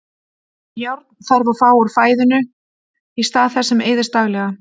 Járn þarf að fá úr fæðinu í stað þess sem eyðist daglega.